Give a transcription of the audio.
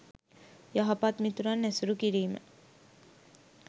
යහපත් මිතුරන් ඇසුරු කිරීම